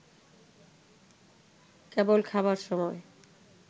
কেবল খাবার সময়